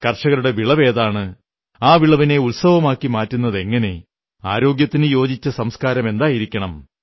കർഷകരുടെ വിളവ് ഏതാണ് ആ വിളവിനെ ഉത്സവമാക്കി മാറ്റുന്നതെങ്ങനെ ആരോഗ്യത്തിന് യോജിച്ച സംസ്കാരമെന്തായിരിക്കണം